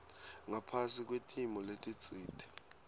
ngaphasi kwetimo letitsite